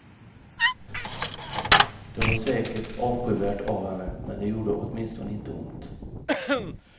Det var säkert avskyvärt av henne, men det gjorde åtminstone inte ont.